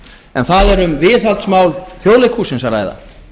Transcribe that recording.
en það er um viðhaldsmál þjóðleikhússins að ræða